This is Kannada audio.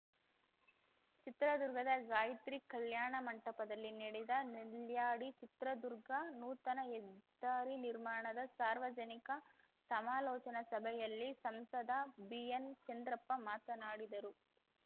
ಚಿತ್ರದುರ್ಗದ ಗಾಯತ್ರಿ ಕಲ್ಯಾಣ ಮಂಟಪದಲ್ಲಿ ನಡೆದ ನೆಲ್ಯಾಡಿ ಚಿತ್ರದುರ್ಗ ನೂತನ ಹೆದ್ದಾರಿ ನಿರ್ಮಾಣದ ಸಾರ್ವಜನಿಕ ಸಮಾಲೋಚನಾ ಸಭೆಯಲ್ಲಿ ಸಂಸದ ಬಿಎನ್‌ ಚಂದ್ರಪ್ಪ ಮಾತನಾಡಿದರು